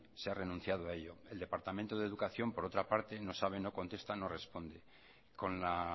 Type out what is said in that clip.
se ha renunciado a ello el departamento de educación por otra parte no sabe no contesta no responde con la